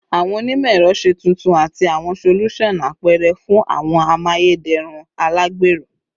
Awọn onimọ-ẹrọ, ṣe tuntun ati awọn solusan apẹrẹ fun awọn amayederun alagbero